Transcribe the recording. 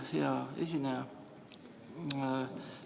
Hea esineja!